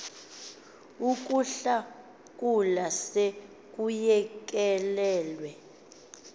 ukuhlakula se kuyekelelwe